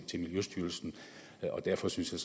miljøstyrelsen og derfor synes jeg